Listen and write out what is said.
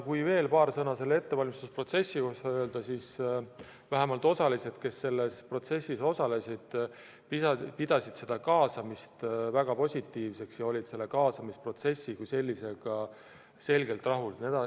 Kui veel paar sõna selle ettevalmistusprotsessi kohta öelda, siis vähemalt need, kes selles protsessis osalesid, pidasid kaasamist väga positiivseks ja olid kaasamisprotsessi kui sellisega selgelt rahul.